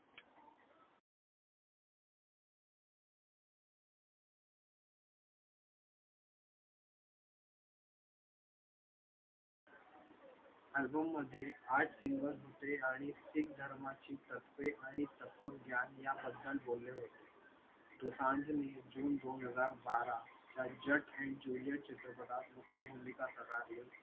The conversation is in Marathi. album मध्ये आठ single होते आणि शीख धर्माची तत्त्वे आणि तत्त्वज्ञान याबद्दल बोलले होते दोसांझने जुन दोन हजार बारा या jat and juliet चित्रपटात मुख्य भूमिका साकारली होती